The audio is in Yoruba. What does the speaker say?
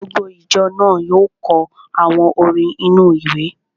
Gbogbo ìjọ náà yóò kọ àwọn orin inú-ìwé